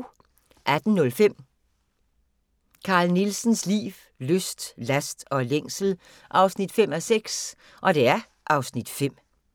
18:05: Carl Nielsens liv, lyst, last og længsel 5:6 (Afs. 5)